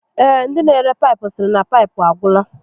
Ee, ndi n'ere paịpụ sịrị na paịpụ agwụla